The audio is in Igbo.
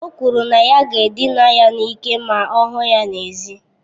O kwuru na ya ga-edina ya n'ike ma ọ hụ ya n'èzí.